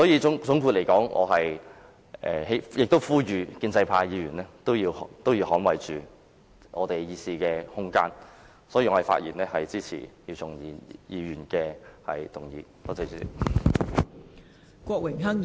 總括而言，我呼籲建制派議員捍衞大家的議事空間，並發言支持姚松炎議員的議案。